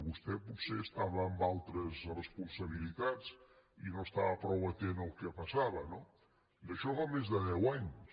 vostè potser estava en altres responsabilitats i no estava prou atent al que passava no d’això en fa més de deu anys